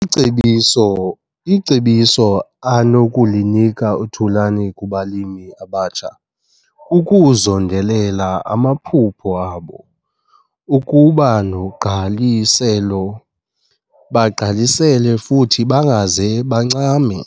Icebiso icebiso anokulinika uThulani kubalimi abatsha, kukuzondelela amaphupha abo, ukuba nogqaliselo, bagqalisele futhi bangaze bancame.